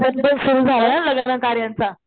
झालाय लग्न कार्यांचा.